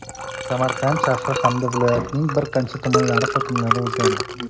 Samarqand shahri hamda viloyatning bir qancha tumanlari hokimlari o‘zgardi.